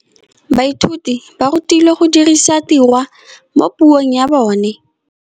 Baithuti ba rutilwe go dirisa tirwa mo puong ya bone.